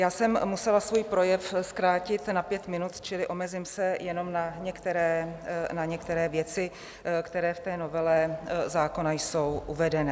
Já jsem musela svůj projev zkrátit na pět minut, čili omezím se jenom na některé věci, které v té novele zákona jsou uvedené.